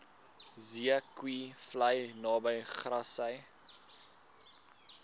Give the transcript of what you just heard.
zeekoevlei naby grassy